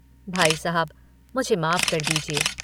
भाई साहब मुझे माफ कर दीजिए।